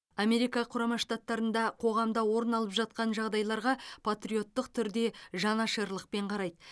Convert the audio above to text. америка құрама штаттарында қоғамда орын алып жатқан жағдайларға патриоттық түрде жанашырлықпен қарайды